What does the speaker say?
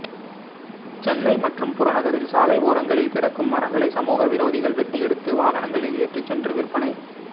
சென்னை மற்றும் புறநகரில் சாலை ஓரங்களில் கிடக்கும் மரங்களை சமூக விரோதிகள் வெட்டி எடுத்து வாகனங்களில் ஏற்றி சென்று விற்பனை